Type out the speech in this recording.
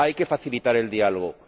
Hay que facilitar el diálogo.